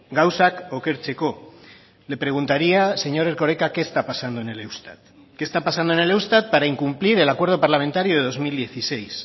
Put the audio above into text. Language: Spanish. gauzak okertzeko le preguntaría señor erkoreka qué está pasando en el eustat qué está pasando en el eustat para incumplir el acuerdo parlamentario de dos mil dieciséis